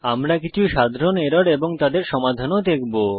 আমরা কিছু সাধারণ এরর এবং তাদের সমাধান ও দেখব